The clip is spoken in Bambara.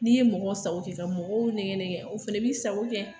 N'i ye mɔgɔ sago kɛ mɔgɔw nɛgɛ nɛgɛ o fana b'i sago kɛ